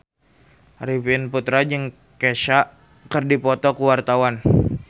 Arifin Putra jeung Kesha keur dipoto ku wartawan